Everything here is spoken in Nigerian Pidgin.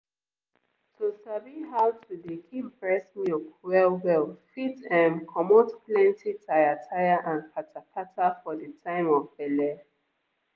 to sabi how to dey keep breast milk well well fit ehmmm comot plenty tire tire and kata kata for the time of belle.